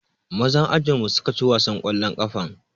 Mazan ajinmu suka ci wasan ƙwallon ƙafan.